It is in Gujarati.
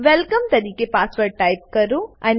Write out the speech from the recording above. વેલકમ તરીકે પાસવર્ડ ટાઈપ કરો